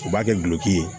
U b'a kɛ gulɔki ye